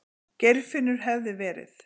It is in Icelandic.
Geirfinnur hefði verið.